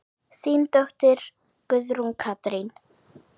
Þín dóttir, Guðrún Katrín.